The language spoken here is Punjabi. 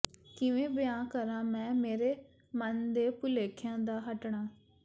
ਕਿਵੇਂ ਬਿਆਨ ਕਰਾ ਮੈ ਮੇਰੇ ਮਨ ਦੇ ਭੁਲੇਖਿਆਂ ਦਾ ਹੱਟਣਾ